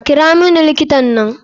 Kira muni likitan nan.